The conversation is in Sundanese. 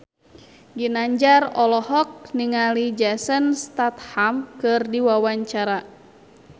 Ginanjar olohok ningali Jason Statham keur diwawancara